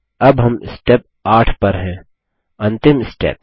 अब हम स्टेप 8 पर हैं अंतिम स्टेप